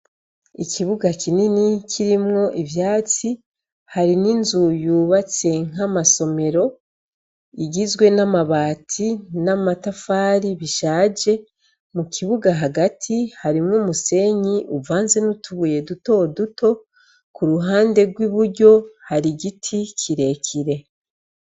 Ikibuga kinini kirimwo ivyatsi hari n'inzu yubatse nk'amasomero igizwe n'amabati n'amatafari bishaje. Mukibuga hagati harimw'umusenyi uvanze n'utubuye dutoduto, k'uruhande rw'iburyo har'igiti kirekire.